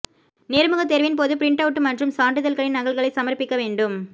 நேர்முகத் தேர்வின்போது print out மற்றும் சான்றிதழ்களின் நகல்களை சமர்ப்பிக்க வேண்டும்